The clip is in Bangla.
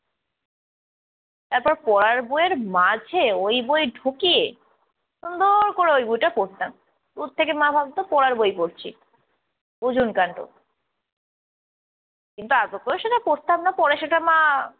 তারপর পড়ার বইয়ের মাঝে ওই বই ঢুকিয়ে সুন্দর করে ওই বইটা পড়তাম। দূর থেকে মা ভাবতো পড়ার বই পড়ছি বুঝুন কান্ড কিন্তু আদৌতো সেটা পড়তাম না পরে সেটা মা